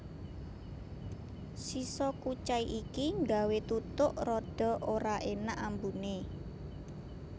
Sisa kucai iki nggawé tutuk rada ora énak ambuné